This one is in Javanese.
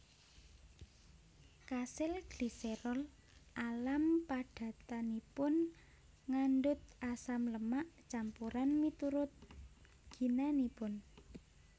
Kasil gliserol alam padatanipun ngandhut asam lemak campuran miturut ginanipun